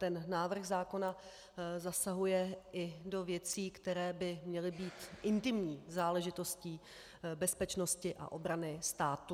Ten návrh zákona zasahuje i do věcí, které by měly být intimní záležitostí bezpečnosti a obrany státu.